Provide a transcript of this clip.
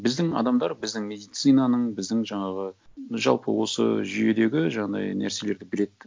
біздің адамдар біздің медицинаның біздің жаңағы жалпы осы жүйедегі жаңағындай нәрселерді біледі